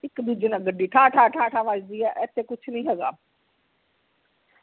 ਇਕ ਦੂਜੇ ਦੇ ਵਿਚ ਗੱਡੀ ਠਾ ਠਾ ਠਾ ਵੱਜਦੀ ਆ ਇਥੇ ਕੁਛ ਨਹੀਂ ਹੇਗਾ